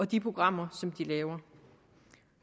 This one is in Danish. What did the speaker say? de programmer som de laver